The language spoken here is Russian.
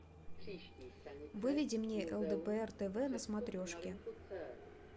выведи мне лдпр тв на смотрешке